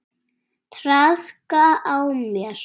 Traðka á mér!